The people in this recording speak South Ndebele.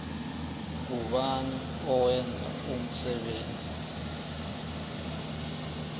ngubani owenza umsebenzi